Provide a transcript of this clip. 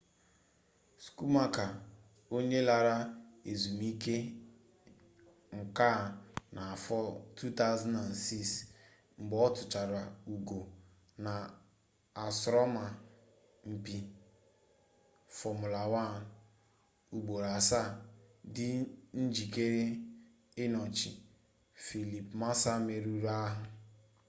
schumacher onye lara ezmuike-nka na afo 2006 mgbe otuchaara ugo na asoroma-mpi fomula 1 ugboro asaa di njikere inochi felipe massa meruru-ahu